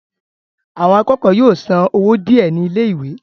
àwọn akẹ́kọ̀ọ́ yóò san owó díẹ̀ ní ilé ìwé